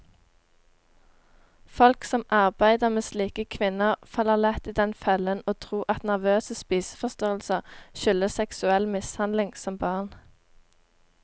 Folk som arbeider med slike kvinner, faller lett i den fellen å tro at nervøse spiseforstyrrelser skyldes seksuell mishandling som barn.